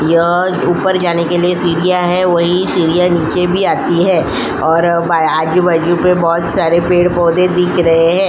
यह ऊपर जाने के लिए सीडिया है वही सीडिया निच्चे भी आती है और प आजू-बाजू पे बहोत सारे पेड़-पौधे दिख रहे है।